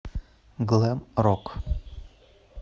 глэм рок